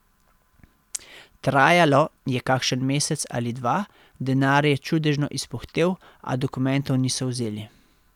Trajalo je kakšen mesec ali dva, denar je čudežno izpuhtel, a dokumentov niso vzeli.